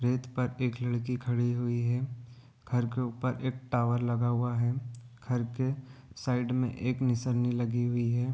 रेत पर एक लड़की खड़ी हुई है घर के उपर एक टावर लगा हुआ है घर के साइड में एक निसरनी लगी हुई है।